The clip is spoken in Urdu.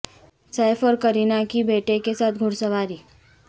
سیف اور کرینہ کی بیٹے کے ساتھ گھڑ سواری